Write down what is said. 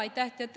Aitäh!